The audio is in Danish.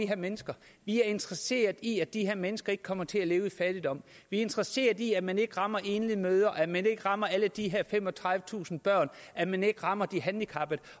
her mennesker vi er interesseret i at de her mennesker ikke kommer til at leve i fattigdom vi interesseret i at man ikke rammer enlige mødre at man ikke rammer alle de her femogtredivetusind børn at man ikke rammer de handicappede